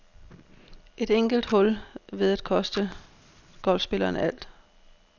Et enkelt hul ved at koste golfspilleren alt.